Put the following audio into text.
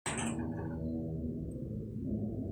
kakwa irbulabol o dalili e Lynch syndrome?